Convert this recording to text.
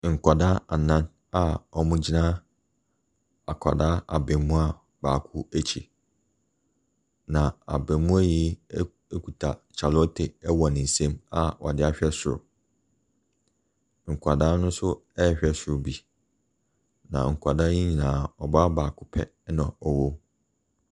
Nkwadaa anan a wɔregyina akwadaa abaamua baako akyi, na abaamua yi ɛk kuta kyale wote wɔ ne nsam a ɔde ahwɛ soro. Nkwadaa no nso rehwɛ soro bi, na nkwadaa yi nyinaa, ɔbaa baako pɛ na ɔwɔ mu.